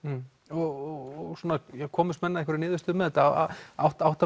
og komust menn að einhverri niðurstöðu með þetta átta